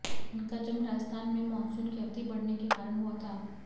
इनका जन्म राजस्थान में मॉनसून की अवधि बढऩे के कारण हुआ था